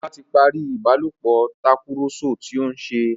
Ola tí parí ìbálòpọ̀ Tàkùrọ̀sọ tíó nṣe.